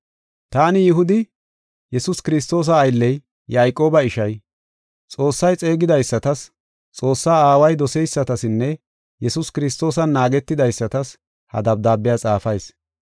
Taani Yihudi, Yesuus Kiristoosa aylley, Yayqooba ishay, Xoossay xeegidaysatas, Xoossa Aaway doseysatasinne Yesuus Kiristoosan naagetidaysatas ha dabdaabiya xaafayis.